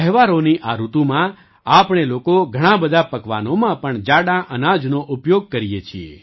તહેવારોની આ ઋતુમાં આપણે લોકો ઘણા બધાં પકવાનોમાં પણ જાડાં અનાજનો ઉપયોગ કરીએ છીએ